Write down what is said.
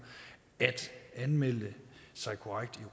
at anmelde sig korrekt i